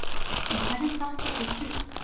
En hverjum datt þetta í hug?